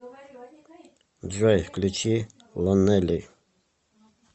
джой включи лонели